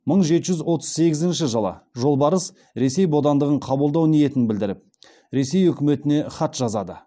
мың жеті жүз отыз сегізінші жылы жолбарыс ресей бодандығын қабылдау ниетін білдіріп ресей үкіметіне хат жазады